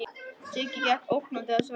Siggi gekk ógnandi að Svenna.